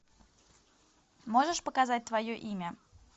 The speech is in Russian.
можешь показать твое имя